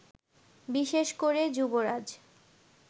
বিশেষ করে যুবরাজ